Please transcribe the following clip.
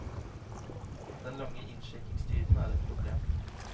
Den lange innsjekkingstiden er ett problem.